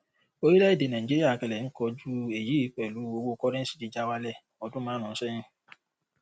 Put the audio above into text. orílẹ èdè nàìjíríà kẹlẹ ń kojú èyí pẹlú owó kọrẹńsì jíjà wálẹ odún márùnún sẹyìn